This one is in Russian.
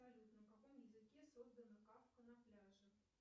салют на каком языке создана кавка на пляже